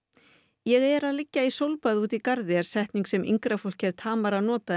ég er að liggja í sólbaði úti í garði er setning sem yngra fólki er Tamara að nota en